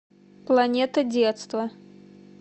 планета детства